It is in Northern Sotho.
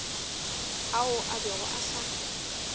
ao a bego a sa